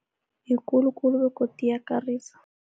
Ikulu khulu begodu iyakarisa.